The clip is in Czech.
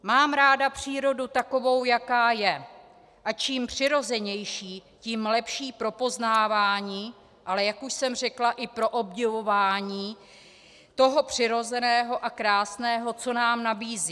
Mám ráda přírodu takovou, jaká je, a čím přirozenější, tím lepší pro poznávání, ale jak už jsem řekla, i pro obdivování toho přirozeného a krásného, co nám nabízí.